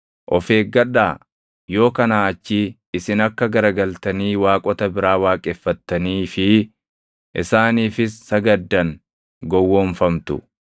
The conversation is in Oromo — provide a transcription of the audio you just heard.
Of eeggadhaa! Yoo kanaa achii isin akka garagaltanii waaqota biraa waaqeffattanii fi isaaniifis sagaddan gowwoomfamtu.